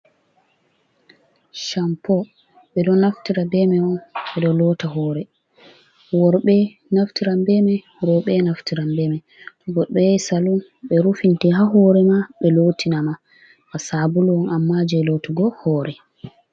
Campo ɓe ɗo naftira be may on, ɓe ɗo loota hoore, worɓe naftiran be may, rowɓe naftiran be may. To goɗɗo yahi salun ɓe rufinte haa hoore ma, ɓe lootina ma, ba sabulo on ammaa jey lootugo hoore.